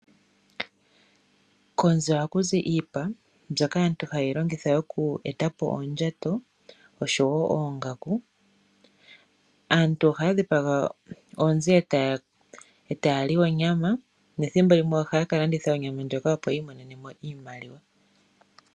Konzi ohaku zi iipa mbyoka aantu hayeyi longitha oku etapo oondjato oshowo oongaku. Aantu ohaya dhipaga oonzi etaya li onyama nethimbo limwe ohaya ka landitha onyama ndjoka opo yiimonenemo iimaliwa.